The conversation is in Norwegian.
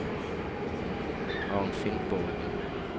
Arnfinn Borgen